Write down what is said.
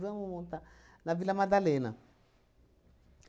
Vamos montar na Vila Madalena.